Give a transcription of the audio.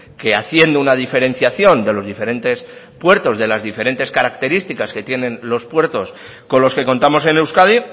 que haciendo una diferenciación de los diferentes puertos de las diferentes característica que tienen los puertos con los que contamos en euskadi